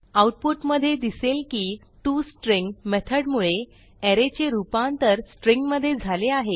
आऊटपुटमधे दिसेल की टॉस्ट्रिंग मेथडमुळे अरे चे रूपांतर स्ट्रिंग मधे झाले आहे